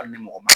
Hali ni mɔgɔ ma